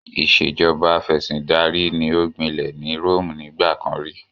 Ìṣèjọba Afẹ̀sìndarí ni ó gbinlẹ̀ ní Rome nígbà kan rí